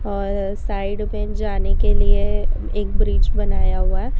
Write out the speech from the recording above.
और साइड में जाने के लिए एक ब्रिज बनाया हुआ है।